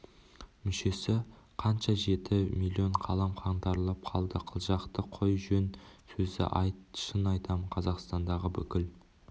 мүшесі қанша жеті миллион қалам қаңтарылып қалды қылжақты қой жөн сөзді айт шын айтамын қазақстандағы бүкіл